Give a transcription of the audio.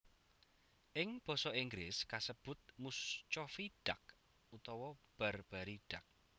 Ing basa Inggris kasebut Muscovy Duck utawa Barbary Duck